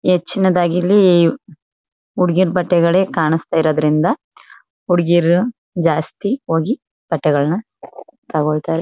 ಹೆಚ್ಚಿನದಾಗಿ ಇಲ್ಲಿ ಹುಡುಗೀರು ಬಟ್ಟೆಗಳೇ ಕಾಣಸ್ತ ಇರೋದ್ರಿಂದ ಹುಡಗಿರು ಜಾಸ್ತಿ ಹೋಗಿ ಬಟ್ಟೆಗಳನ್ನ ತಗೋಳ್ತಾರೆ.